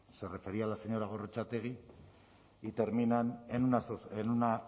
se refería la señora gorrotxategi y terminan en una